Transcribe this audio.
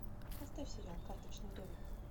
поставь сериал карточный домик